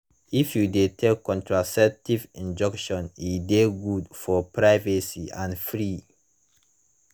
if you de take contraceptive injection e de good for privacy and free